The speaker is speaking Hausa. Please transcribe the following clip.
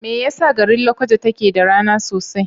Me yasa garin Lakwaja take da rana sosai?